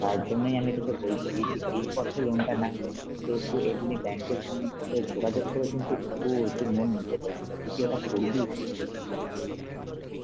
তার জন্যই আমি আমি তোকে বলছি যে এই পথে loan টা না নিয়ে, এ তুই এমনি bank এর সঙ্গে যোগাযোগ করে কিন্তু কু~ তুই loan নিতে পারিস, তা তুই কি এটা করবি?